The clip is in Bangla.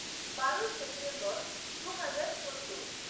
বারোই সেপ্টেম্বর দু হাজার চোদ্দ